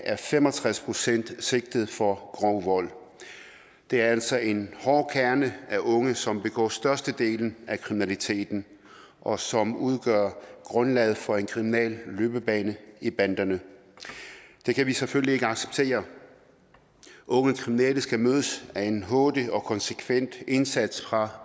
er fem og tres procent sigtet for grov vold det er altså en hård kerne af unge som begår størstedelen af kriminaliteten og som udgør grundlaget for en kriminel løbebane i banderne det kan vi selvfølgelig ikke acceptere unge kriminelle skal mødes af en hurtig og konsekvent indsats fra